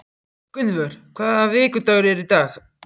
Gunnvör, hvaða vikudagur er í dag?